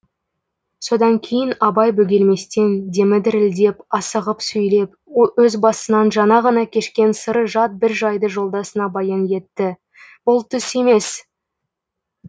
содан кейін абай бөгелместен демі дірілдеп асығып сөйлеп өз басынан жаңа ғана кешкен сыры жат бір жайды жолдасына баян етті бұл түс емес